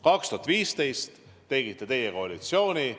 2015 tegite teie koalitsiooni.